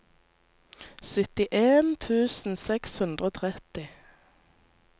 syttien tusen seks hundre og tretti